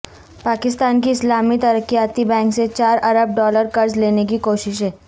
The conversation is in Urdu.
پاکستان کی اسلامی ترقیاتی بینک سے چار ارب ڈالر قرض لینے کی کوششیں